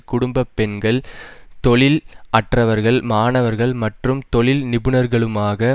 குடும்ப பெண்கள் தொழில் அற்றவர்கள் மாணவர்கள் மற்றும் தொழில் நிபுணர்களுமாக